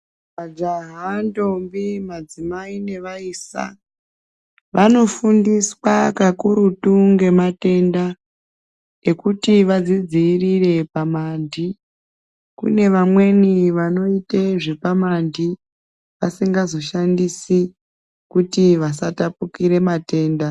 Majaha, ndombi, madzimai nevaisa vanofundiswa kakurutu ngematenda ekuti vadzidziirire pamandi. Kune vamweni vanoite zvepamandi vasingazoshandisi kuti vasatapukire matenda